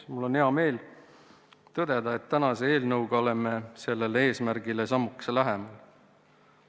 Mul on hea meel tõdeda, et tänase eelnõuga oleme sellele eesmärgile sammukese lähemal.